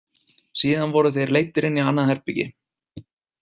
Síðan voru þeir leiddir inn í annað herbergi.